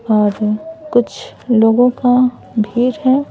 और कुछ लोगों का भीड़ हैं।